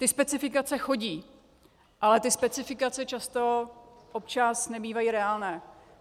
Ty specifikace chodí, ale ty specifikace často, občas nebývají reálné.